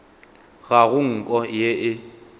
ga go nko ye e